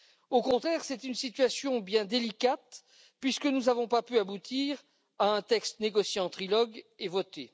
Au contraire, c'est une situation bien délicate puisque nous n'avons pas pu aboutir à un texte négocié en trilogue et voté.